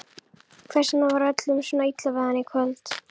Hvers vegna var öllum svona illa við hann í kvöld?